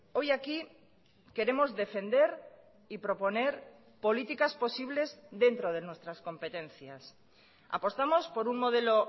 hoy aquí queremos defender y proponer políticas posibles dentro de nuestras competencias apostamos por un modelo